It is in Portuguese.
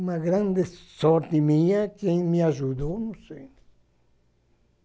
Uma grande sorte minha, quem me ajudou, não sei.